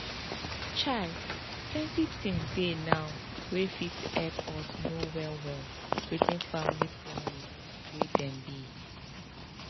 chai plenty things dey now wey fit hep us know well well wetin family planning way dem be